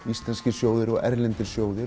íslenskir og erlendir